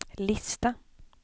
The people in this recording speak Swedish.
lista